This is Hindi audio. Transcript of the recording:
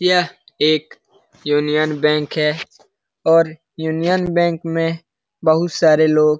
यह एक यूनियन बैंक है और यूनियन बैंक में बहुत सारे लोग --